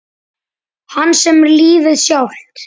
Hans sem er lífið sjálft.